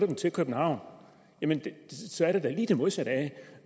ind til københavn så er det da lige det modsatte af